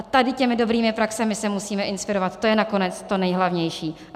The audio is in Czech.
A tady těmi dobrými praxemi se musíme inspirovat, to je nakonec to nejhlavnější.